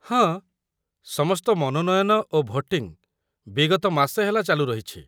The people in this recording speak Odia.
ହଁ, ସମସ୍ତ ମନୋନୟନ ଓ ଭୋଟିଙ୍ଗ୍ ବିଗତ ମାସେ ହେଲା ଚାଲୁ ରହିଛି।